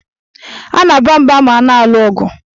A na-aba mba ma a na-alụ ọgụ.